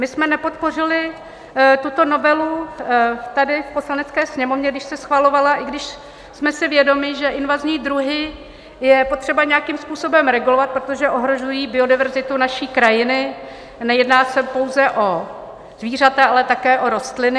My jsme nepodpořili tuto novelu tady v Poslanecké sněmovně, když se schvalovala, i když jsme si vědomi, že invazní druhy je potřeba nějakým způsobem regulovat, protože ohrožují biodiverzitu naší krajiny, a nejedná se pouze o zvířata, ale také rostliny.